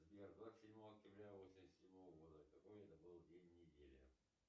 сбер двадцать седьмого октября восемьдесят седьмого года какой это был день недели